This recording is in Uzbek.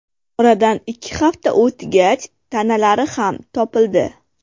Oradan ikki hafta o‘tgach, tanalari ham topildi.